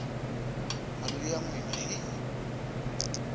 mali ya n wina hi